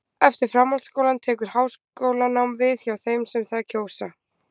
eftir framhaldsskólann tekur háskólanám við hjá þeim sem það kjósa